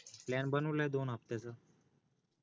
PLAN बनवलाय दोन हफ्त्याचा